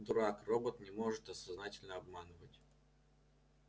дурак робот не может сознательно обманывать